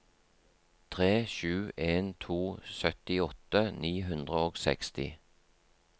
tre sju en to syttiåtte ni hundre og seksti